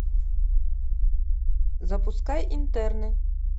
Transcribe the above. запускай интерны